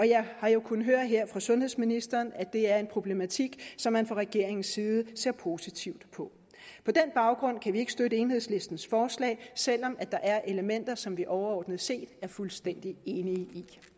jeg har jo kunnet høre her fra sundhedsministeren at det er en problematik som man fra regeringens side ser positivt på på den baggrund kan vi ikke støtte enhedslistens forslag selv om der er elementer som vi overordnet set er fuldstændig enige